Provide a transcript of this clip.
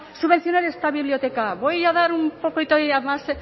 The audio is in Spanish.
subvencionar esta biblioteca voy a dar un poquito más